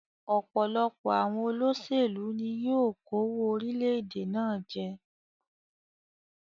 Òpòlopò àwon olósèlú ni yio kówó orílẹ̀dè náà je